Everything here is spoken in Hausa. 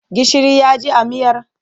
Gishiri ya ji a miyar?